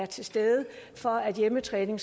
til stede for at hjemmetræning